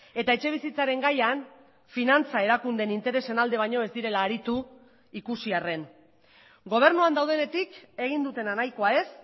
eta etxebizitzaren gaian finantza erakundeen interesen alde baino ez direla aritu ikusi arren gobernuan daudenetik egin dutena nahikoa ez